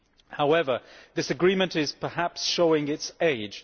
However, this agreement is perhaps showing its age.